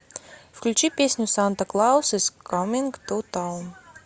включи песню санта клаус из каминг ту таун